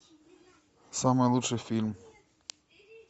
самый лучший фильм